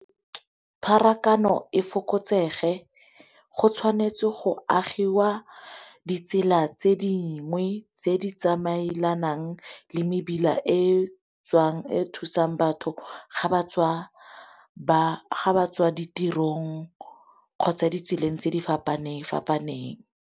Pharakano e fokotsege go tshwanetse go agiwa ditsela tse dingwe tse di tsamaelanang le mebila e tswang, e thusang batho ga ba tswa ditirong kgotsa ditseleng tse di fapane-fapaneng.